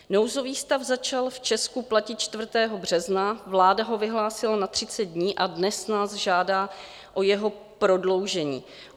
Nouzový stav začal v Česku platit 4. března, vláda ho vyhlásila na 30 dní a dnes nás žádá o jeho prodloužení.